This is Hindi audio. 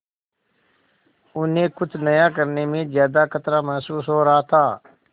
उन्हें कुछ नया करने में ज्यादा खतरा महसूस हो रहा था